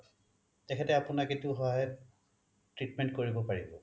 তেখেতে আপোনাক এইটো সহায়ত treatment কৰিব পাৰিব